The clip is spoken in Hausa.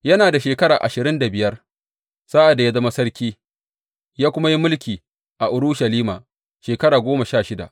Yana da shekara ashirin da biyar sa’ad da ya zama sarki, ya kuma yi mulki a Urushalima shekara goma sha shida.